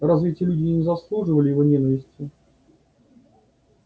разве эти люди не заслуживали его ненависти